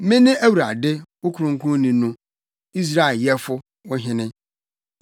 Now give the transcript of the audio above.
Mene Awurade, wo Kronkronni no, Israel Yɛfo, wo Hene.”